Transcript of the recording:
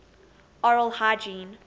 oral hygiene